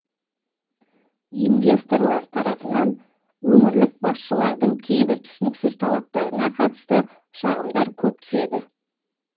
инвесторлар тарапынан өңірлік басшылардың кейбір түсініксіз талаптарына қатысты шағымдар көп түседі